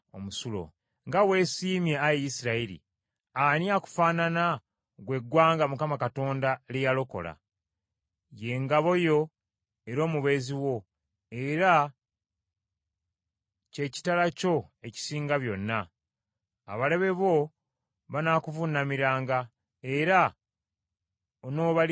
Nga weesiimye, Ayi Isirayiri! Ani akufaanana, ggwe eggwanga Mukama Katonda lye yalokola? Ye ngabo yo era omubeezi wo, era kye kitala kyo ekisinga byonna. Abalabe bo banaakuvuunamiranga, era onoobalinnyiriranga.”